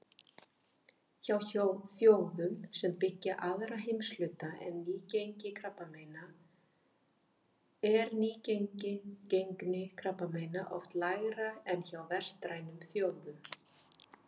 Hjá þjóðum sem byggja aðra heimshluta er nýgengi krabbameina oft lægra en hjá vestrænum þjóðum.